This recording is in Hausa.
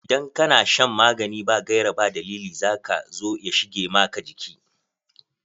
Idan ka na shan magani ba gaira ba dalili za ka zo ya shige maka jiki.